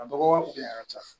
A dɔgɔya kunya ka ca